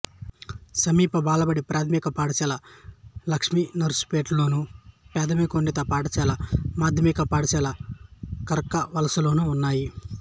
సమీప బాలబడి ప్రాథమిక పాఠశాల లక్ష్మీనర్సుపేటలోను ప్రాథమికోన్నత పాఠశాల మాధ్యమిక పాఠశాల కర్కవలసలోనూ ఉన్నాయి